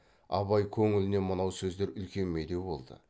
абай көңіліне мынау сөздер үлкен медеу болды